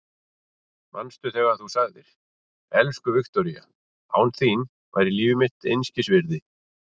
Manstu þegar þú sagðir: Elsku Viktoría, án þín væri líf mitt einskis virði.